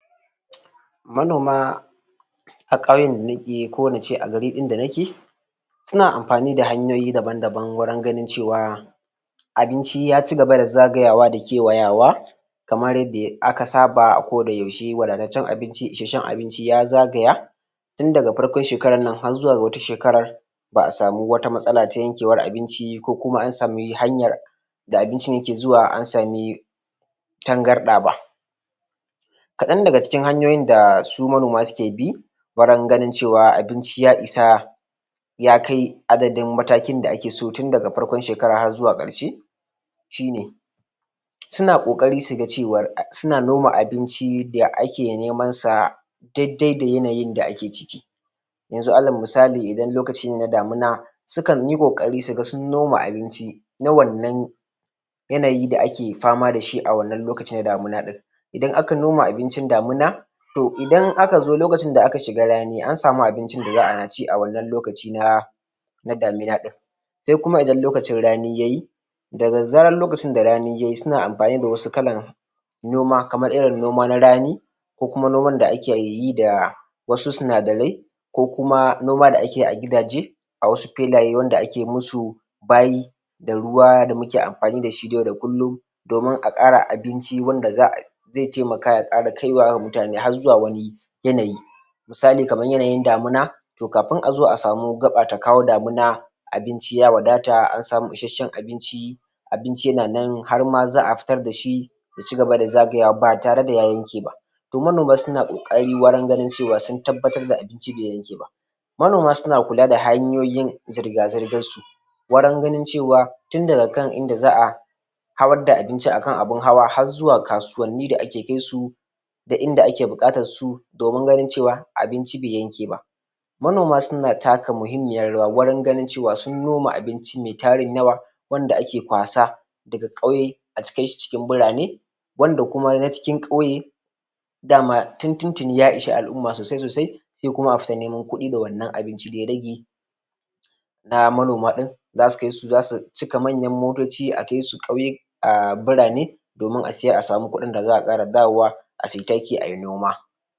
Manoma a ƙauyen da name so in ce garin da nake suna amfani da hanyoyi daban daban wurin ganin cewa abinci ya cigaba da zagayawa da kewayawa kamar yadda aka saba a koda yaushe wadataccen abinci isasshen abinci ya zagaya tun daga farkon shekaran nan har zuwa ga wata shekaran ba a samu wata matsala ta yankeewar abinci ko kuma an sami hanyar da abincin yake zuwa an sami tangarɗa ba kaɗan daga cikin hanyoyin da su manoma suke bi wurin ganin cewa abinci ya isa ya kai adadnin matakin da ake so tun daga farkon shekaran har zuwa ƙarshe suna ƙoƙari su ga cewar suna noma abinci da ake neman sa daidai da yanayin da ake ciki yanzu alal misali idan lokaci ne na damuna sukan yi ƙoƙari su ga sun noma abinci na wannan yanayi da ake fama da shi a wannan lokaci na damuna ɗin idan aka noma abincin damuna to idan aka zo lokacin da aka shiga rani an samu abincin da za a ci a wannan lokaci na da damina ɗin sai kuma idan lokacin rani yayi zaga zarar lokacin da rani yayi suna amfani da wasu kalan noma kaman irin noman rani ko kuma noman da ake yi da wasu sinadarai ko kuma noma da ake yi a gidaje a wasu filaye wanda ake musu bayi da ruwa da muke amfani da shi na yau da kullum domin a ƙara abinci wanda za a zai taimaka ya ƙai wa wa mutane har zuwa wani yanayi misali kaman yanayin damina to kafin a zo a samu gaɓa ta kawo damuna abinci ya wadata an samu isasshen abinci abinci yana nan har ma za a fitar da shi ya cigaba da zagayawa ba tare da ya yanke ba to manoma suna ƙoƙari wurin ganin cewa sun tabbatar da abinci bai yanke ba manoma suna kula da hanyoyin zirga zirgan su wurin ganin cewa tun daga kan inda za a hawar da abinci kan abun hawa har zuwa ga kasuwanni da ake kai su da inda ake buƙatar su domin ganin cewa abinci bai yanke ba manoma suna taka muhimmiyan rawa wurin ganin cewa sun noma abinci mai tarin yawa wande ake kwasa daga ƙauye a kai shi cikin birane wanda kuma na cikin ƙauye dama tuntuni ya ishe al'umma sosai sosai sai kuma a fita neman kuɗi da wannan abinci da ya rage na manoma ɗin zasu kai su zasu cika manyan motoci a kai su ƙauye um birane domin a siyar a samu kuɗin da za a sake dawowa a sayi taki ayi noma